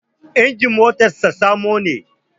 Injin motar sa samo ne